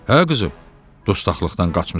Hə qızım, dustaqlıqdan qaçmısan?